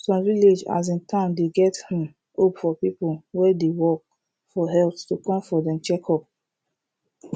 some village asin town dey get um hope for people wey dey work for health to come for dem checkup